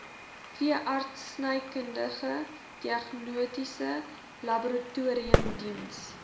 veeartsenykundige diagnostiese laboratoriumdiens